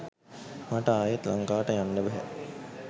මට ආයෙත් ලංකාවට යන්න බැහැ